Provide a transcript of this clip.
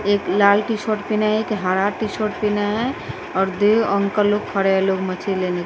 एक लाल T shirt पीने हे एक हरा टी सोट पिन्हे है और द्वेग अंकल लोग खड़े है लोग मछली लेने --